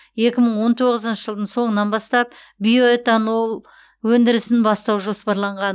екі мың он тоғызыншы жылдың соңынан бастап биоэтанол өндірісін бастау жоспарланған